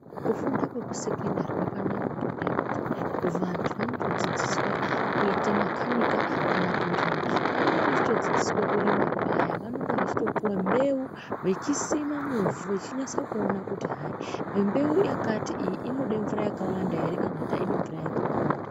Kufunda kwekusekendari kwakambaanaka ngendaa yekuti vantu vanotodzidziswa kuite makhanika kana kurima. Pavanenge vechitodzidziswa kurima paya vanenge veitopuwe mbeu vechisime muvhu vechinyatse kuone kuti hayi mbeu yakati inode mvura yakawanda ere kana kuti aidi mvura yakawanda.